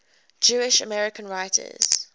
jewish american writers